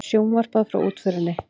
Sjónvarpað frá útförinni